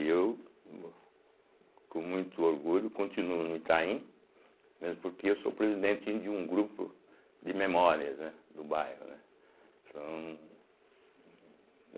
E eu, mô com muito orgulho, continuo no Itaim, mesmo porque eu sou presidente de um grupo de memórias, né, do bairro, né são.